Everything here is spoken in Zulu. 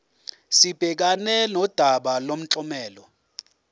sibhekane nodaba lomklomelo